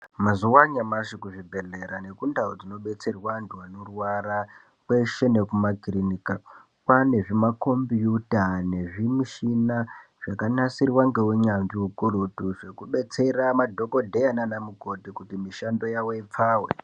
Mazuva anyamashi kuzvibhedhlera nekundau kunobetserwa antu anorwara kweshe nekumakirinika kwane zvimakombiyuta nezvimushina zvakanasirwa nehunyanzvi ukurutu zvekudetsera madhokodheya nana mukoti kuti mishando yawo ipfawe.